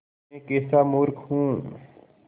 मैं कैसा मूर्ख हूँ